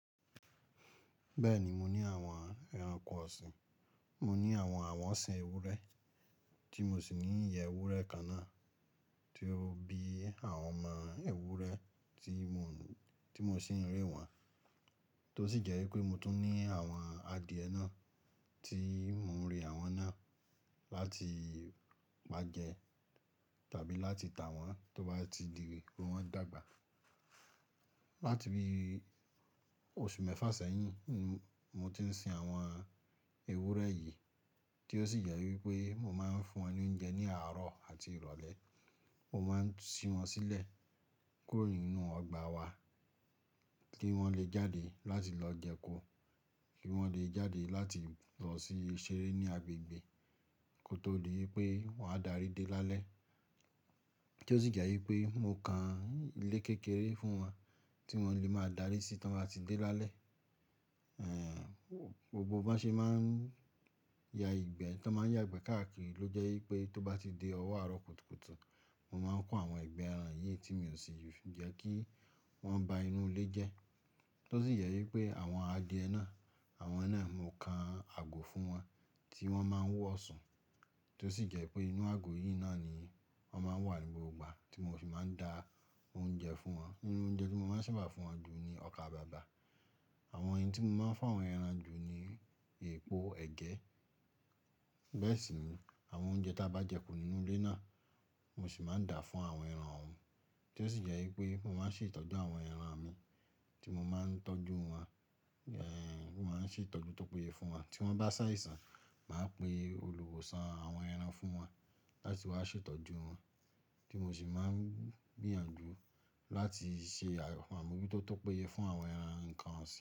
Bẹ́ẹ̀ni, mo ní àwọn ẹranko ọ̀sìn, mo ní àwọn àwọ̀sín ewúrẹ́ tí mo sì ní ìyẹ́ ewúrẹ́ kaná tí ó bí àwọn ọmọ ewúrẹ́ tí mo sì ń rẹ wọ́n. Tó sì jẹ́ wípé mo tún ní àwọn adìẹ náà tí mò ń rẹ àwọn náà láti máa jẹ tàbí láti tà wọ́n tó bá ti di pé wọ́n dàgbà. Látibi òṣù mẹ́fà sẹ́yìn, mo ti ń sin àwọn ewúrẹ́ yìí tí ó sì jẹ́ wípé mo máa ń fún wọn ní oúnjẹ ní àárọ̀ àti ìrọ̀lẹ́. Mo máa ń sin wọ́n sílẹ̀ kúrò nínú ọgbà wa kí wọ́n lè jáde láti lọ jẹko, kí wọ́n lè jáde láti lọ sí i ṣeré ní agbègbè kó tó di wípé wọ́n á darí dé lálẹ́. Tó se jé wí pé mo kan ilé kékeré fún eon tí wón lè máa dàre sí to bá ti dé lálé. Gbogbo bó ṣe máa ń ya ìgbẹ́, tó máa ń yàgbẹ́ káàkiri ló jẹ́ wípé tó bá ti dé ọwọ́ àárọ̀ kùtùkùtù, mo máa ń kó àwọn ìgbẹ́ ẹran yìí tí mi ò sì fi jẹ́ kí wọ́n ba inú ilé jẹ́. Tó sì jẹ́ wípé àwọn adìẹ náà, àwọn náà mo kan àgò fún wọn tí wọ́n máa ń wọ̀sùn, tí ó sì jẹ́ wípé inú àgò yìí náà ni wọ́n máa ń wà ní gbogbo ìgbà tí mo fi máa ń da oúnjẹ fún wọn. Inú oúnjẹ tí mo máa ń sábà fún wọn jù ni ọkà bàbà. Àwọn eyin tí mo máa ń fún àwọn ẹran jù ni epo ẹ̀gẹ́. Bẹ́ẹ̀ sì ni àwọn oúnjẹ tí a bá jẹko nínú ilé náà, mo sì máa ń dà fún àwọn ẹran òun, tí ó sì jẹ́ wípé mo máa ń ṣètọ́jú àwọn ẹran mi tí mo máa ń tọ́jú wọn. Mo máa ń ṣètọ́jú tó péye fún wọn. Tí wọ́n bá ṣàìsàn, màá pe olùwòsàn àwọn ẹran fún wọn láti wá ṣètọ́jú wọn tí mo sì máa ń gbìyànjú láti ṣe àyẹ̀wò fún wọn orí tó tó péye fún àwọn ẹran nǹkan ọ̀sìn.